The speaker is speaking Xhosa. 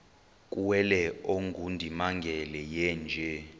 kuwele ongundimangele yeenje